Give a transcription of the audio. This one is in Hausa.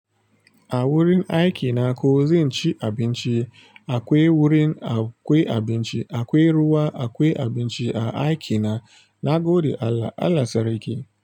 A wurin aikina ko zan ci abinci, akwai wurin akwai abinci, akwai ruwa, akwai abinci a aikina, na gode Allah, Allah sariƙi.